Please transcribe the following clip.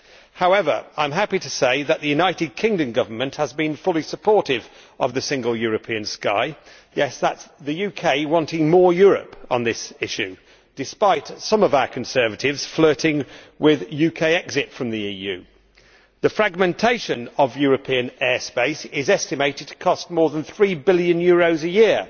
However, I am happy to say that the United Kingdom Government has been fully supportive of the Single European Sky. Yes, that is the UK wanting more Europe on this issue, despite some of our Conservatives flirting with a UK exit from the EU. The fragmentation of European airspace is estimated to cost more than EUR3 billion a year.